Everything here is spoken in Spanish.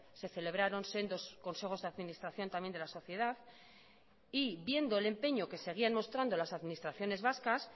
se celebraron sendos consejos de administración también de la sociedad y viendo el empeño que seguían mostrando las administraciones vascas